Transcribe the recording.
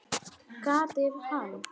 Kata er hann!